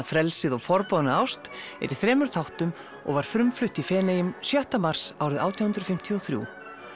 frelsið og forboðna ást er í þremur þáttum og var frumflutt í Feneyjum sjötta mars árið átján hundruð fimmtíu og þrjú